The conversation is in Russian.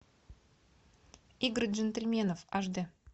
игры джентльменов аш дэ